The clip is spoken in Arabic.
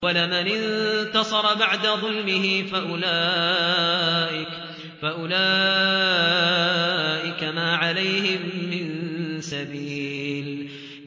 وَلَمَنِ انتَصَرَ بَعْدَ ظُلْمِهِ فَأُولَٰئِكَ مَا عَلَيْهِم مِّن سَبِيلٍ